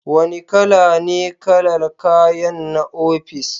Wane kala ne kalar kayanku na ofis?